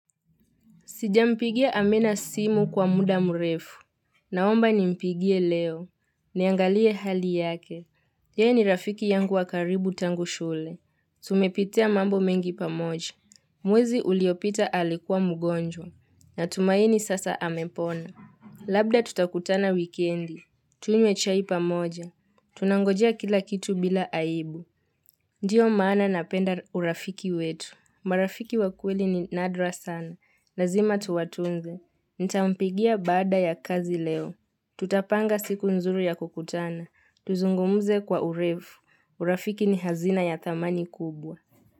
Sijampigia amina simu kwa muda mrefu. Naomba ni mpigie leo. Niangalie hali yake. Yeye ni rafiki yangu wakaribu tangu shule. Tumepitia mambo mengi pamoja. Mwezi uliopita alikuwa mgonjwa. Na tumaini sasa amepona. Labda tutakutana wikendi. Tunywe chai pamoja. Tunangojea kila kitu bila aibu. Ndiyo maana napenda urafiki wetu. Marafiki wakweli ni nadra sana. Lazima tuwatunze. Nitampigia baada ya kazi leo. Tutapanga siku nzuru ya kukutana. Tuzungumze kwa urefu. Urafiki ni hazina ya thamani kubwa.